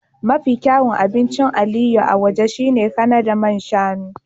Mafi kyawun abincin Aliyu na waje shine Kanada man shanu